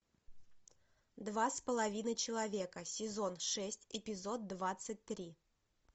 два с половиной человека сезон шесть эпизод двадцать три